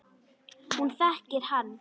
Hún þekkir hann.